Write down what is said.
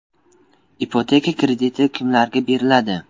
Ipoteka krediti kimlarga beriladi?